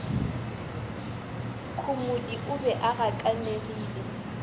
khomodi o be a gakanegile